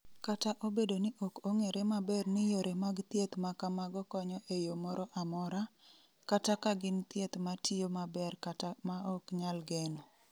Kata obedo ni ok ong’ere maber ni yore mag thieth ma kamago konyo e yo moro amora, kata ka gin thieth ma tiyo maber kata ma ok nyal geno.